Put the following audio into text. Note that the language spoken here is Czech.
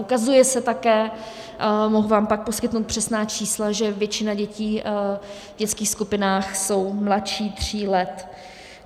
Ukazuje se také, mohu vám pak poskytnout přesná čísla, že většina dětí v dětských skupinách jsou mladší tří let.